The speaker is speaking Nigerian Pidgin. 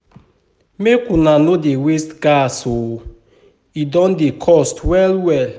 Make una no dey waste gas o e don dey cost well-well.